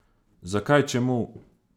Zakaj, čemu?